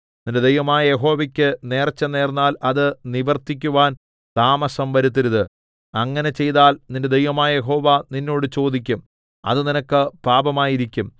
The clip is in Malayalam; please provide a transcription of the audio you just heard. നിന്റെ ദൈവമായ യഹോവയ്ക്കു നേർച്ച നേർന്നാൽ അത് നിവർത്തിക്കുവാൻ താമസം വരുത്തരുത് അങ്ങനെ ചെയ്താൽ നിന്റെ ദൈവമായ യഹോവ നിന്നോട് ചോദിക്കും അത് നിനക്ക് പാപമായിരിക്കും